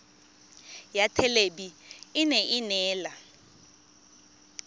ya thelebi ene e neela